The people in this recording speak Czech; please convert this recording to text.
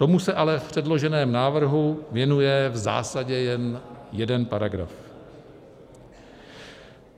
Tomu se ale v předloženém návrhu věnuje v zásadě jen jeden paragraf.